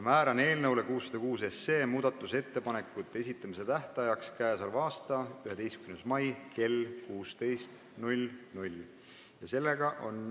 Määran eelnõu 606 muudatusettepanekute esitamise tähtajaks 11. mai kell 16.